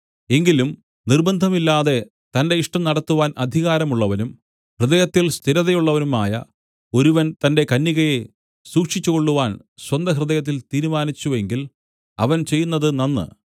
എങ്കിലും നിർബ്ബന്ധമില്ലാതെ തന്റെ ഇഷ്ടം നടത്തുവാൻ അധികാരമുള്ളവനും ഹൃദയത്തിൽ സ്ഥിരതയുള്ളവനുമായ ഒരുവൻ തന്റെ കന്യകയെ സൂക്ഷിച്ചുകൊള്ളുവാൻ സ്വന്തഹൃദയത്തിൽ തീരുമാനിച്ചു എങ്കിൽ അവൻ ചെയ്യുന്നത് നന്ന്